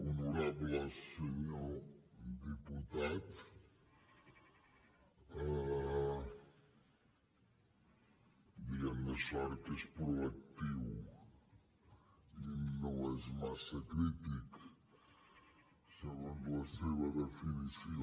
honorable senyor diputat diguem ne sort que és proactiu i no és massa crític segons la seva definició